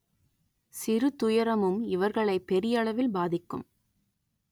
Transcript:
சிறு துயரமும் இவர்களை பெரியளவில் பாதிக்கும்